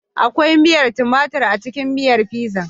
Akwai miyar tumatur a cikin miyar Fizan